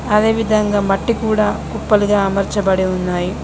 అదే విధంగా మట్టి కూడా కుప్పలుగా అమర్చ బడి ఉన్నాయి.